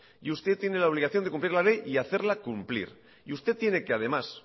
y usted tiene la obligación de cumplir la ley y hacerla cumplir usted tiene que además